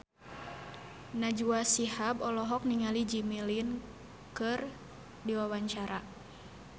Najwa Shihab olohok ningali Jimmy Lin keur diwawancara